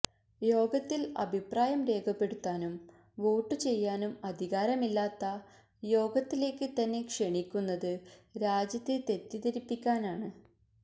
യോഗത്തില് അഭിപ്രായം രേഖപ്പെടുത്താനും വോട്ടു ചെയ്യാനും അധികാരമില്ലാത്ത യോഗത്തിലേക്ക് തന്നെ ക്ഷണിക്കുന്നത് രാജ്യത്തെ തെറ്റിധരിപ്പിക്കാനാണ്